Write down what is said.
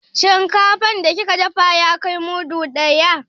Shinkafan da kika dafa ya kai mudu ɗaya.